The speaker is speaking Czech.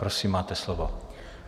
Prosím, máte slovo.